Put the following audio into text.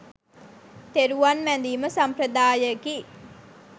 තෙරුවන් වැඳීම සම්ප්‍රදායයකි.